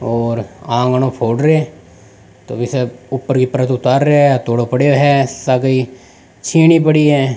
और आंगणो फोड़ रे है तो जैसे ऊपर की परत उतार रेहो है हथोड़ो पड़यो है सागे ही छीनी पड़ी है।